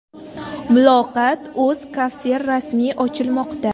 Muloqot.Uz kafesi rasmiy ochilmoqda.